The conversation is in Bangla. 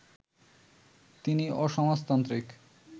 তিনি অসমাজতান্ত্রিক